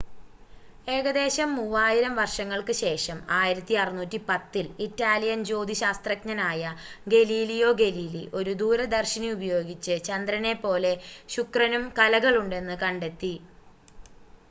ഏകദേശം മൂവായിരം വർഷങ്ങൾക്ക് ശേഷം 1610-ൽ ഇറ്റാലിയൻ ജ്യോതിശാസ്ത്രജ്ഞനായ ഗലീലിയോ ഗലീലി ഒരു ദൂരദർശിനി ഉപയോഗിച്ച് ചന്ദ്രനെ പോലെ ശുക്രനും കലകളുണ്ടെന്ന് കണ്ടെത്തി